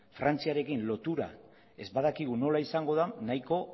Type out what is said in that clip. frantziarekin lotura ez badakigu nola izango den nahiko